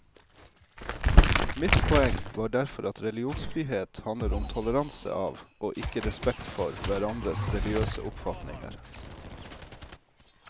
Mitt poeng var derfor at religionsfrihet handler om toleranse av og ikke respekt for hverandres religiøse oppfatninger.